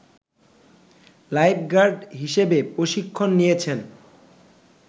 lifeguard হিসেবে প্রশিক্ষণ নিয়েছেন